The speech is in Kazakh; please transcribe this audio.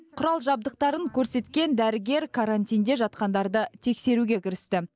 құрал жабдықтарын көрсеткен дәрігер карантинде жатқандарды тексеруге кірісті